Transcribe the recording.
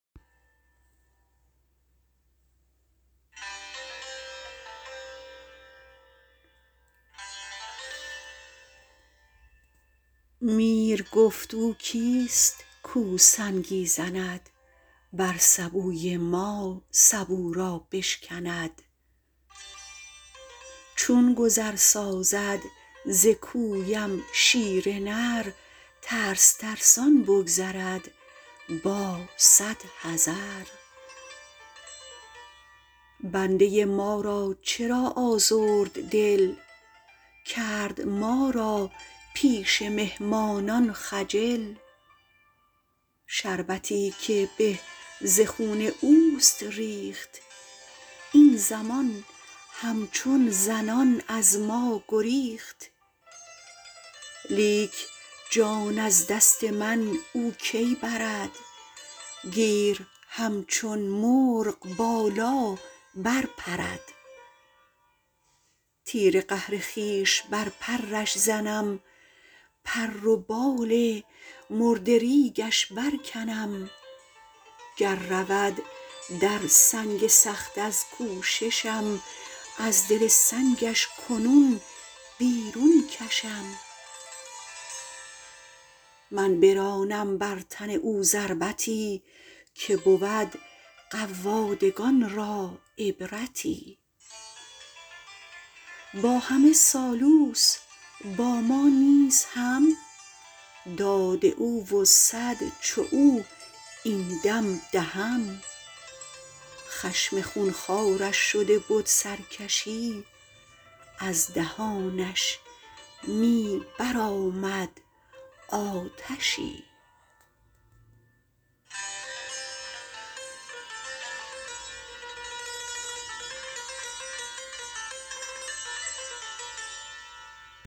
میر گفت او کیست کو سنگی زند بر سبوی ما سبو را بشکند چون گذر سازد ز کویم شیر نر ترس ترسان بگذرد با صد حذر بنده ما را چرا آزرد دل کرد ما را پیش مهمانان خجل شربتی که به ز خون اوست ریخت این زمان هم چون زنان از ما گریخت لیک جان از دست من او کی برد گیر هم چون مرغ بالا بر پرد تیر قهر خویش بر پرش زنم پر و بال مردریگش بر کنم گر رود در سنگ سخت از کوششم از دل سنگش کنون بیرون کشم من برانم بر تن او ضربتی که بود قوادکان را عبرتی با همه سالوس با ما نیز هم داد او و صد چو او این دم دهم خشم خون خوارش شده بد سرکشی از دهانش می بر آمد آتشی